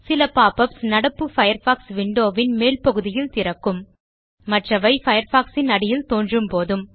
சில pop யுபிஎஸ் நடப்பு பயர்ஃபாக்ஸ் விண்டோ வின் மேல் பகுதியில் திறக்கும் மற்றவை பயர்ஃபாக்ஸ் ன் அடியில் தோன்றும் போதும்